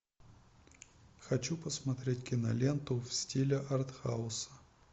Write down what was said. хочу посмотреть киноленту в стиле артхауса